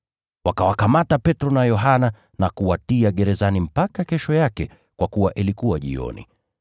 Wakawakamata Petro na Yohana na kuwatia gerezani mpaka kesho yake kwa kuwa ilikuwa jioni.